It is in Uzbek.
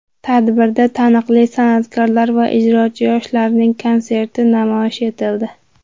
Tadbirda taniqli san’atkorlar va ijrochi yoshlarning konserti namoyish etildi.